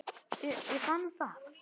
Ég fann það.